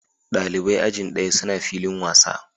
Dalibai ajin ɗaya suna filin wasa.